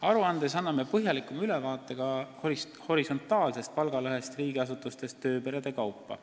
Aruandes anname põhjalikuma ülevaate ka horisontaalsest palgalõhest riigiasutustes tööperede kaupa.